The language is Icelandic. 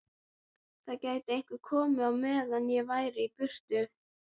Það gæti einhver komið á meðan ég væri í burtu